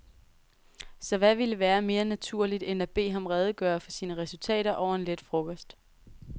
Så hvad ville være mere naturligt end at bede ham redegøre for sine resultater over en let frokost.